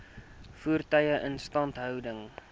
voertuie instandhouding